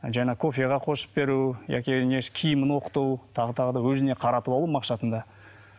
жаңа кофеге қосып беру яки несі киімін оқыту тағы тағы да өзіне қаратып алу мақсатында